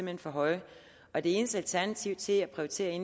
hen for høje og det eneste alternativ til at prioritere i